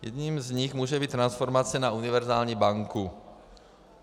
Jedním z nich může být transformace na univerzální banku.